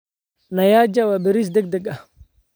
Nyaja waa bariis degdeg ah.